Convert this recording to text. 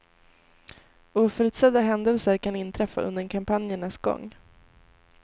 Oförutsedda händelser kan inträffa under kampanjernas gång.